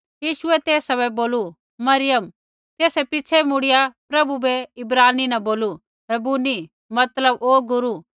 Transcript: यीशुऐ तेसा बै बोलू मरियम तेसै पिछ़ै मुड़िया प्रभु बै इब्रानी न बोलू रब्बुनी मतलब ओ गुरू